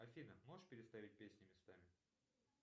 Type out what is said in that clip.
афина можешь переставить песни местами